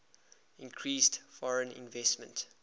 increased foreign investment